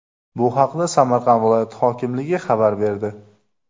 Bu haqda Samarqand viloyati hokimligi xabar berdi .